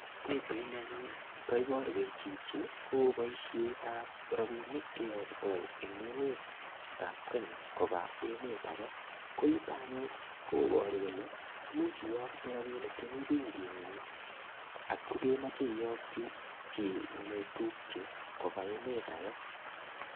Pichaini kaiboruech chichi ko boisiet ab rapinik keyokto en emetab Kenya koba emet age, koyuto anyun koburu kole imuch iyokte rapinik chemi benkingung ngotko kemoche iyokyi chi neotupche koba emet age.